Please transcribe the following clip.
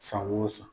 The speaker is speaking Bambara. San o san